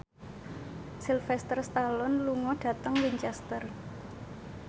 Sylvester Stallone lunga dhateng Winchester